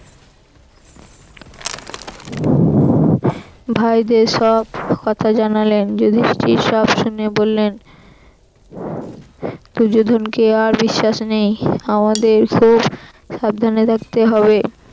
ভাইদের সব কথা জানালেন। যুধিষ্ঠির সব শুনে বললেন দুর্যোধনকে আর বিশ্বাস নেই আমাদেরকেও সাবধানে থাকতে হবে